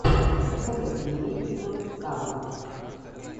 посоветуй мне игоркава